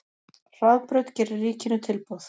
Hraðbraut gerir ríkinu tilboð